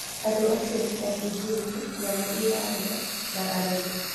Andũ acio nĩ ta kĩjini, nyamũ iraria, na arogi.